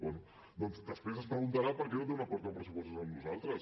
bé doncs després es preguntarà per què no té un acord en pressupostos amb nosaltres